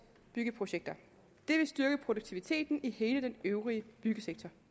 byggeprojekter det vil styrke produktiviteten i hele den øvrige byggesektor